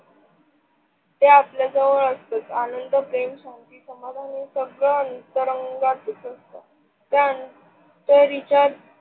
जे आपला जवळ असत. आनंद, प्रेम, शांती, समाधानी सगळ अंतरंगात दिसत असत .